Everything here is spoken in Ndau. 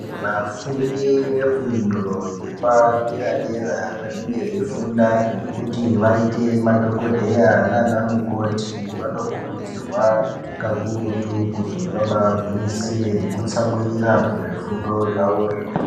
Vafundu vefundo yepadera dera vanenge veifunda kuti vaite madhokodheya nana mukoti vanokurudzirwa kakurutu kuti vabagwinyisire kutsamirira kuzvifundo zvavozvo.